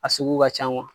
A sugu ka can